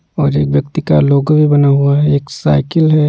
और एक व्यक्ति का लोगो बना हुआ है एक साइकिल है।